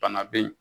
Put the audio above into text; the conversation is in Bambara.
Bana be yen